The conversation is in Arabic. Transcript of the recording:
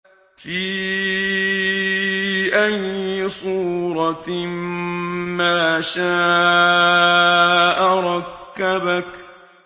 فِي أَيِّ صُورَةٍ مَّا شَاءَ رَكَّبَكَ